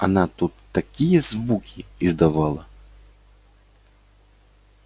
она тут такие звуки издавала